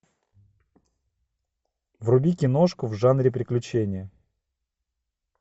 вруби киношку в жанре приключения